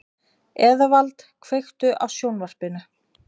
Eðvald, kveiktu á sjónvarpinu.